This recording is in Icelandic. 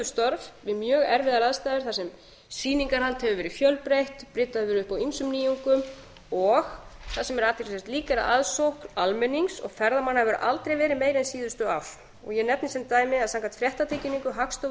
störf við mjög erfiðar aðstæður þar sem sýningahald hefur verið fjölbreytt bryddað hefur verið upp á ýmsum nýjungum og það sem er athyglisvert líka er að aðsókn almennings og ferðamanna hefur aldrei verið meiri en síðustu ár ég nefni sem dæmi að samkvæmt fréttatilkynningu hagstofu